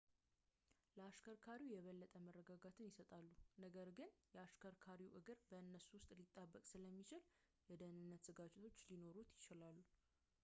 ለአሽከርካሪው የበለጠ መረጋጋትን ይሰጣሉ ነገር ግን የ አሽከርካሪው እግር በእነሱ ውስጥ ሊጣበቅ ስለሚችል የደህንነት ስጋቶች ሊኖሩት ይችላል